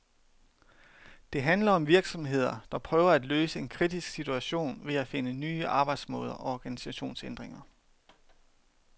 Det handler om virksomheder, der prøver at løse en kritisk situation ved at finde nye arbejdsmåder og organisationsændringer.